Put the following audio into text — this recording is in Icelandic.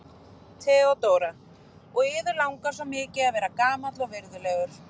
THEODÓRA: Og yður langar svo mikið að vera gamall og virðulegur.